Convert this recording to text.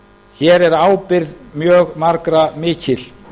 hér er ábyrgð mjög margra mikil